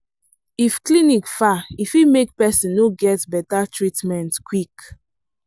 if clinic far e fit make person no get better treatment quick.